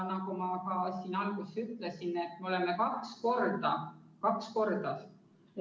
Nagu ma ka alguses ütlesin, me oleme kaks korda – kaks korda!